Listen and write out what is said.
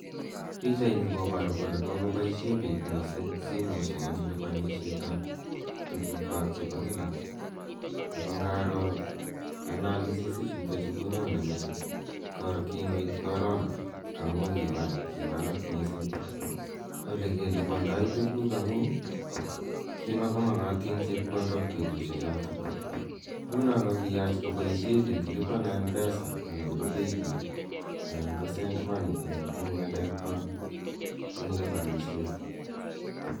Pichaini koparu kole kokopishe pik missing' simoshek eng' lipanishet ap tugukwak chepo kila. Ako ngaro analysis ichutachu konyone metinyu kibgoit korona amu kiwalak missing' ole kelipandai tuguk amu kimakomakatin chepkondok petushechotok. Ngu ko kiyach ko poishe pik 'lipa na mpesa' anan ko 'paybill' anan ko 'send money' eng' ng'alekwak, eng' lipananishet.